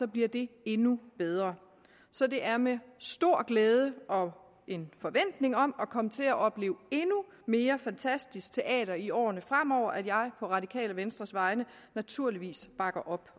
bliver det endnu bedre så det er med stor glæde og forventning om at komme til at opleve endnu mere fantastisk teater i årene fremover at jeg på radikale venstres vegne naturligvis bakker op